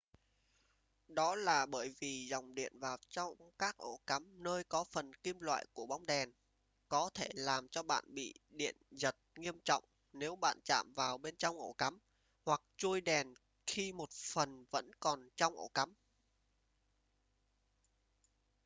đó là bởi vì dòng diện vào trong các ổ cắm nơi có phần kim loại của bóng đèn có thể làm cho bạn bị điện giật nghiêm trọng nếu bạn chạm vào bên trong ổ cắm hoặc chuôi đèn khi một phần vẫn còn trong ổ cắm